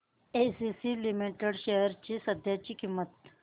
ACC limited shares ची सध्याची किंमत